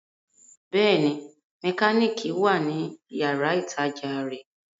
Bẹ́ẹ̀ni, mẹkánìkì wà ní yàrá-ìtajà rẹ̀